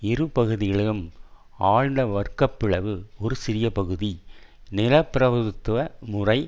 இரு பகுதிகளிலும் ஆழ்ந்த வர்க்க பிளவு ஒரு சிறிய பகுதி நிலப்பிரபுத்துவ முறை